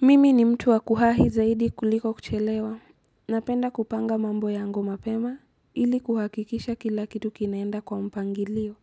Mimi ni mtu wa kuwahi zaidi kuliko kuchelewa. Napenda kupanga mambo yangu lmapema ili kuhakikisha kila kitu kinaenda kwa mpangilio